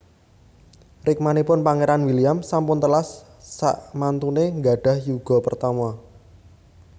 Rikmanipun Pangeran William sampun telas sakmantune nggadhah yuga pertama